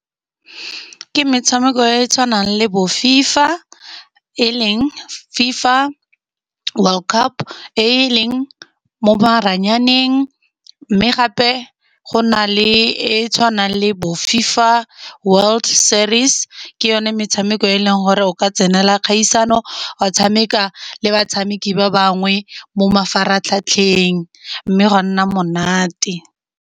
Ke metshameko e tshwanang le bo FIFA e leng FIFA world cup, e leng mo maranyaneng. Mme gape go na le e tshwanang le bo FIFA world series, ke yone metshameko e leng gore o ka tsenela kgaisano, wa tshameka le batshameki ba bangwe mo mafaratlhatlheng, mme gwa nna monate.